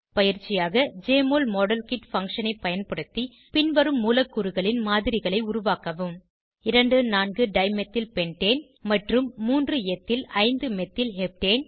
பயிற்சியாக JMOL model kit function ஐ பயன்படுத்தி பின்வரும் மூலக்கூறுகளின் மாதிரிகளை உருவாக்கவும் 2 4 டைமெத்தில் பென்டேன் மற்றும் 3 எத்தில் 5 மெத்தில் ஹெப்டேன்